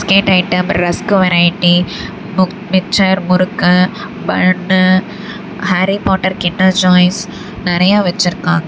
Main item rusk variety முக் mixture murukku பண்ணு Harry Potter Kinder Joys நெறைய வெச்சிருக்காங்க.